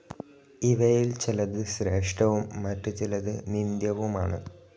ഇവയിൽ ചിലത് ശ്രേഷ്ഠവും മറ്റുചിലത് നിന്ദ്യവുമാണ്.